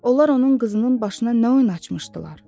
Onlar onun qızının başına nə oyun açmışdılar?